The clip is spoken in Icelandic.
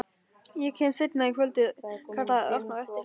Ég kem seinna í kvöld kallaði Örn á eftir henni.